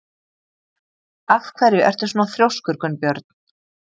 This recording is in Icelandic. Af hverju ertu svona þrjóskur, Gunnbjörn?